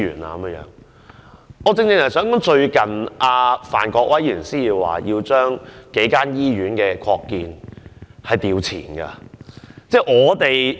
我正正想指出，范國威議員最近提出，要求將數間醫院的擴建撥款調前審批。